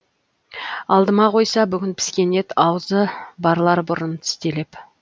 алдыма қойса бүгін піскен ет азуы барлар бұрын тістелеп